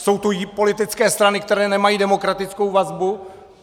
Jsou tu politické strany, které nemají demokratickou vazbu?